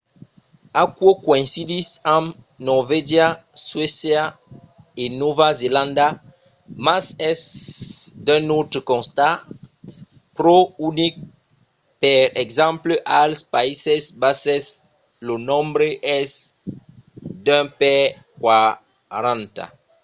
aquò coïncidís amb norvègia suècia e nòva zelanda mas es d'un autre costat pro unic per exemple als païses basses lo nombre es d'un per quaranta